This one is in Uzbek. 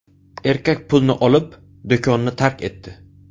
Erkak pulni olib, do‘konni tark etdi.